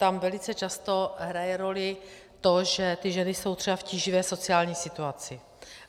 Tam velice často hraje roli to, že ty ženy jsou třeba v tíživé sociální situaci.